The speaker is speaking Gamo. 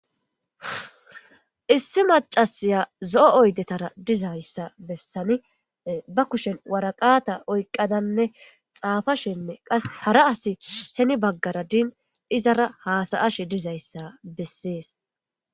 Issi macasiya zo7o oydetara dizayssa bessani ba kushen waraqata oyqqadanne xaafashenne qas hara asi heni baggara din izara haasayashe dizayssa bessees.